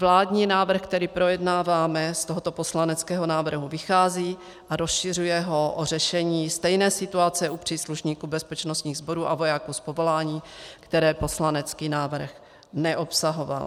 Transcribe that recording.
Vládní návrh, který projednáváme, z tohoto poslaneckého návrhu vychází a rozšiřuje ho o řešení stejné situace u příslušníků bezpečnostních sborů a vojáků z povolání, které poslanecký návrh neobsahoval.